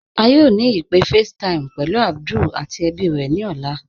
À yóò ni ìpé FaceTime pẹ̀lú Abdul àti èbí rè ni ọlá.